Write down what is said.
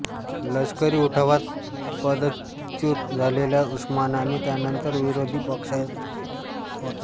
लष्करी उठावात पदच्युत झालेला उस्माने त्यानंतर विरोधीपक्षनेता होता